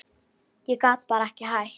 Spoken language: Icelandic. Ég gat bara ekki hætt.